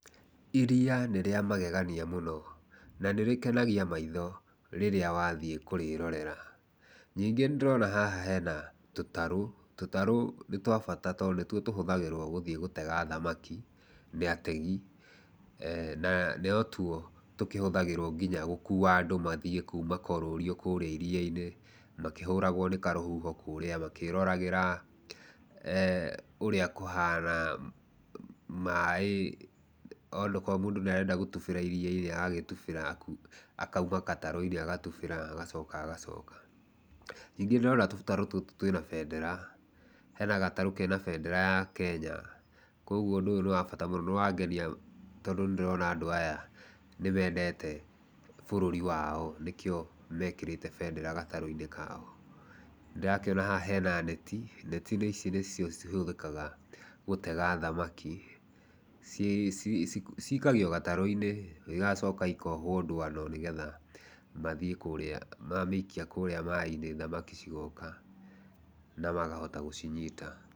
Iria nĩ rĩa magegania mũno na nĩrĩkenagia maitho rĩrĩa wathiĩ kũrĩrorera, ningĩ nĩndĩrona haha hena tũtarũ, tũtarũ nĩ twa bata, tondũ nĩtuo tũhũthagĩrwo gũthiĩ gũtega thamaki nĩ ategi, na no tuo tũkĩhũthagĩrwo nginya gũkua andũ mathiĩ kuma kũrũrio kũrĩa iria-inĩ, makĩhũragwo nĩ karũhuho kũrĩa, makĩroragĩra ũrĩa kũhana, maĩ okorwo mũndũ nĩ arenda gũtubĩra iria-inĩ nĩ aragĩtubĩra, akauma gatarũ-inĩ agatubĩra agacoka agacoka, ningĩ ndĩrona tũtarũ tũtũ twĩ na bendera, hena gatarũ kena bendera ya Kenya, koguo ũndũ ũyũ nĩ wa bata mũno, nĩ wangenia tondũ nĩ ndona andũ aya nĩ mendete bũrũri wao nĩkĩo mekĩrĩte bendera gatarũ-inĩ kao. Ndĩrakĩona haha hena neti, neti ici nĩcio cihũthĩkaga gũtega thamaki, cikagio gatarũ-inĩ igacoka ikohwo ndũano, nĩgetha mathiĩ kũrĩa, mamĩikia kũrĩa maĩ-inĩ thamaki cigoka na makahota gũcinyita.